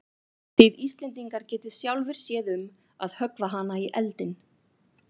Þið Íslendingar getið sjálfir séð um að höggva hana í eldinn.